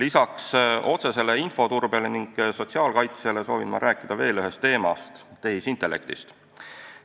Peale otsese infoturbe ning sotsiaalkaitse soovin ma rääkida veel ühest teemast: tehisintellektist.